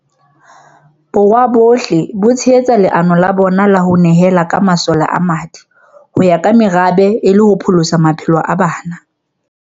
Borwa ohle ho tshehetsa leano la bona la ho ne hela ka masole a madi ho ya ka merabe e le ho pholosa maphelo a bana.